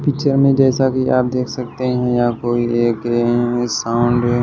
में जैसा कि आप देख सकते हैं या कोई एक साउंड है।